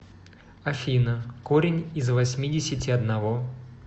афина корень из восьмидесяти одного